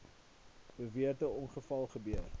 beweerde ongeval gebeur